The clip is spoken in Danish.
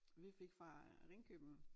Vi fik fra Ringkøbing